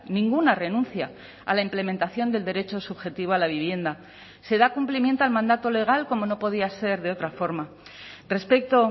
ninguna renuncia a la implementación del derecho subjetivo a la vivienda se da cumplimiento al mandato legal como no podía ser de otra forma respecto